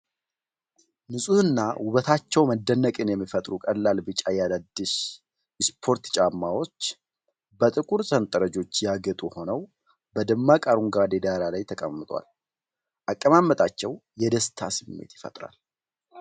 ንፁህና ውበታቸው መደነቅን የሚፈጥሩት ቀላል ቢጫ የአዲዳስ ስፖርት ጫማዎች፣ በጥቁር ሰንጠረዦች ያጌጡ ሆነው፣ በደማቅ አረንጓዴ ዳራ ላይ ተቀምጠዋል። አቀማመጣቸው የደስታ ስሜት ይፈጥራል።